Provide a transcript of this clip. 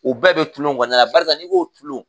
U bɛɛ bɛ tulon knɔnɔna la, barisa n'i ko tulon.